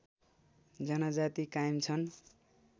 जनजाती कायम छन्